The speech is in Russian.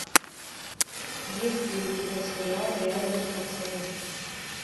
есть ли у тебя сериал реальные пацаны